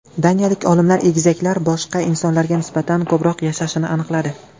Daniyalik olimlar egizaklar boshqa insonlarga nisbatan ko‘proq yashashini aniqladi.